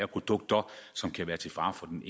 produkter som kan være til fare for den